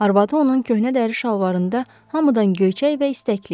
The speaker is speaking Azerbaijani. Arvadı onun köhnə dəri şalvarında hamıdan göyçək və istəkli idi.